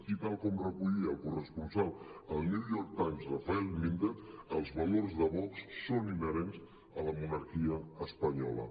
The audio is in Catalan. i tal com recollia la corresponsal al new york times rafael méndez els valors de vox són inherents a la monarquia espanyola